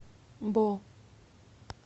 бо